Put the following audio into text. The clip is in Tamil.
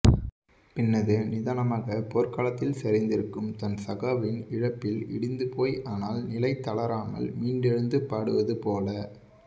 பின்னது நிதானமாக போர்க்களத்தில் சரிந்திருக்கும் தன் சகாவின் இழப்பில் இடிந்து போய் ஆனால் நிலை தளராமல் மீண்டெழுந்து பாடுவது போல